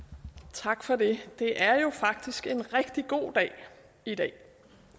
tak for det det er jo faktisk en rigtig god dag i dag